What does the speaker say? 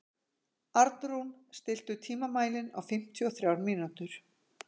Arnrún, stilltu tímamælinn á fimmtíu og þrjár mínútur.